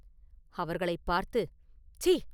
அவர்களைப் பார்த்து, “சீ!